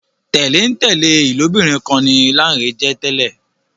tẹlentẹle ilobirin kán ní Lanre jé tèlé